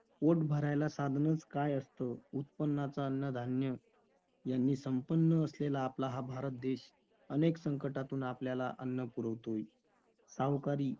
पोट भरायला साधनच काय असतं? उत्पन्नाचा अन्नधान्य यांनी संपन्न असलेला आपला हा भारत देश अनेक संकटातून आपल्याला अन्न पुरवतोय. सावकारी,